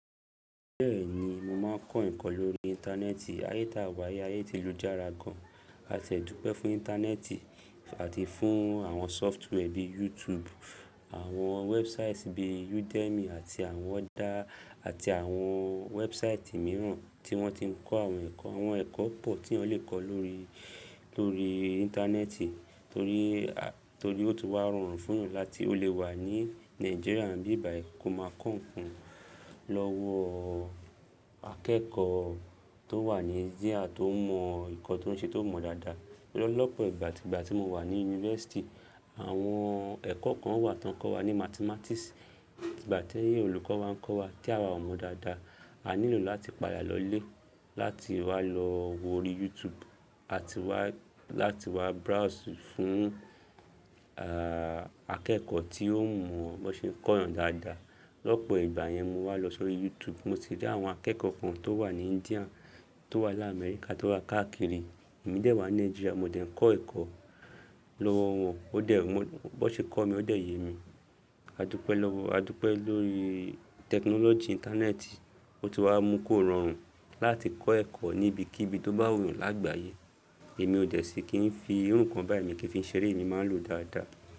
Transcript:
Bẹ́ẹ̀ni, mo máa ń kọ́ ẹ̀kọ́ lórí Íńtánẹ́ẹ̀tì. Ayé ta wà ayé ti lu jára gan. A ti ẹ dúpẹ́ fún Íńtánẹ́ẹ̀tì àti fún àwọn software bíi YouTube, àwọn wẹ́búsáìtì bíi Udemy àti àwọn other, àti àwọn wẹ́búsáìtì mìíràn tí wọ́n ti ń kọ́ àwọn ẹ̀kọ́. Àwọn ẹ̀kọ́ pọ̀ tí yàn lè kọ́ lórí, lórí Íńtánẹ́ẹ̀tì torí, torí ó ti wá rọrùn fún yan láti ó lè wà ní Nàìjíríà ní bí bàyí kò máa kọ́ ǹ kan lọ́wọ́ akẹ́kọ̀ọ́ tó wà ní India tó mọ ǹ kan tó ń ṣe tó mọ dáadáa. Lọ́pọ̀ ìgbà, ìgbà tí mo wà ní yunifásítì àwọn ẹ̀kọ́ kan wà tí wọ́n ń kọ́ wa ní Mathematics. Ìgbà tẹ́yẹ́ olùkọ́ wa ń kọ́ wa tí àwa ò mọ̀ dáadáa, a nílò láti palẹ̀ lọlé láti wá lọ wọ́rí YouTube àti wá láti wá browse fún, à, akẹ́kọ̀ọ́ tí ó mọ̀ bó ṣe ǹ kọ́ yán dáadáa. Lọ́pọ̀ ìgbà yẹn mo wá lọ sórí YouTube, mo si rí àwọn akẹ́kọ̀ọ́ kan tó wà ní India, tó wà láà Amẹ́ríkà, tó wà káàkiri, èmi dè wà ní Nigeria, mo dẹ̀ ń kọ́ ẹ̀kọ́ lọ́wọ́ wọn. Ó dẹ̀, bó ṣe kọ́ mi, ó dẹ̀ yé mi. A dúpẹ́ lọ́wọ́, a dúpẹ́ lórí tẹkinọ́lọ́jì Íńtánẹ́ẹ̀tì, ó ti wá mú kó rọrùn láti kọ́ ẹ̀kọ́ níbi kíbi tó bá wù ú lágbàáyé. Èmi ò dẹ̀ sí kí ń fi irú ǹkan báyìí mi kí ń fi ṣeré, èmi máa ń lò ó dáadáa.